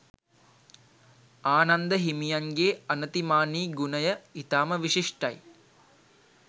ආනන්ද හිමියන්ගේ අනතිමානී ගුණය ඉතාම විශිෂ්ටයි